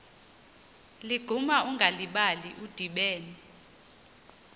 ligquma ungalibali udibene